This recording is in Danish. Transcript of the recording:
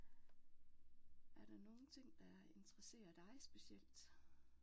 Er der nogen ting der interesserer dig specielt?